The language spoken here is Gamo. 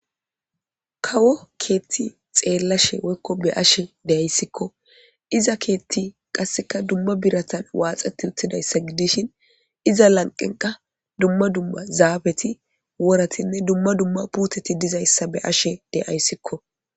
Kawo keethti xeellashe wekko be ashe deyayssikko iza keetti qasseka dumma biratan waaxeti uttidayssa gidishin iza lanqenqa dumma dumma zaabeti woratinne dumma dumma puteti dizayssa be ashe deyayssikko.